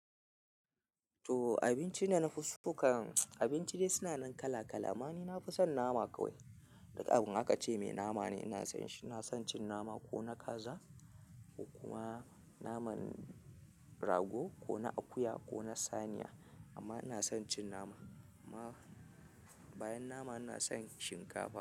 To abinci da na fi so kan abinci dai suna nan kala kala. Amma ni na fi son nama kawai. Duk abu in akace mai nama ne ina son shi ina son cin nama ko na kaza, ko kuma naman rago, ko na akuya, ko na saniya. Amma ina son cin nama, amma bayan nama ina son shinkafa.